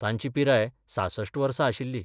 तांची पिराय सासष्ट वर्सा आशिल्ली.